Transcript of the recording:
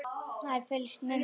Það er fylgst með mér.